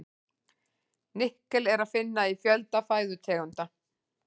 Nikkel er að finna í fjölda fæðutegunda.